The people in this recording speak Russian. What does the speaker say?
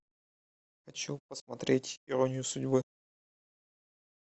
хочу посмотреть иронию судьбы